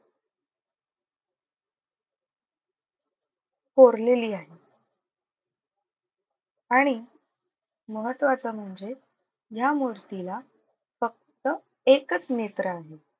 कोरलेली आहे. आणि महत्त्वाचं म्हणजे ह्या मूर्तीला फक्त एकच नेत्र आहे.